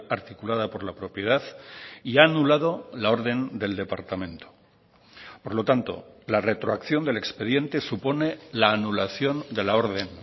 articulada por la propiedad y ha anulado la orden del departamento por lo tanto la retroacción del expediente supone la anulación de la orden